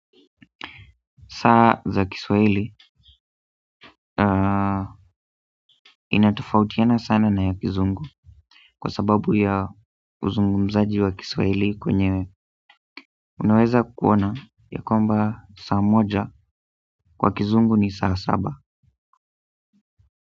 Saa za kiswahili inatofautiana sana na ya kizungu kwa sababu ya uzungumzaji wa kiswahili kwenye unaweza kuona ya kwamba saa moja kwa kizungu ni saa saba.